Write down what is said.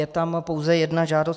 Je tam pouze jedna žádost.